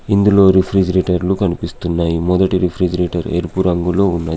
ఇందులో రిఫ్రిజిరేటర్లు కనిపిస్తున్నాయ్. మెదటి రిఫ్రిజిరేటర్ ఎరుపు రంగులో ఉన్నది.